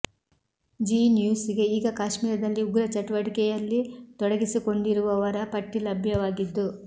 ಜೀ ನ್ಯೂಸ್ ಗೆ ಈಗ ಕಾಶ್ಮೀರ್ ದಲ್ಲಿ ಉಗ್ರಚಟುವಟಿಕೆಯಲ್ಲಿ ತೊಡಗಿಸಿಕೊಂಡಿರುವವರ ಪಟ್ಟಿ ಲಭ್ಯವಾಗಿದ್ದು